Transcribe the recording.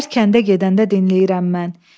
Hər kəndə gedəndə dinləyirəm mən.